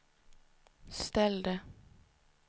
ställde